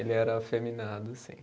Ele era afeminado, sim.